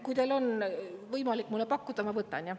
Kui teil on võimalik mulle pakkuda, siis ma võtan jah.